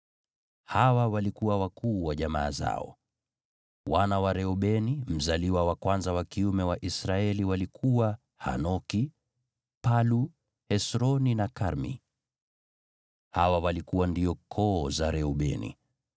Hawa walikuwa wakuu wa jamaa zao: Wana wa Reubeni mzaliwa wa kwanza wa kiume wa Israeli walikuwa Hanoki, Palu, Hesroni na Karmi. Hawa walikuwa ndio koo za Reubeni.